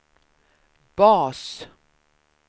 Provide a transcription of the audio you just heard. bas